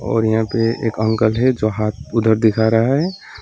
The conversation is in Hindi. और यहां पे एक अंकल है जो हाथ उधर दिखा रहा है।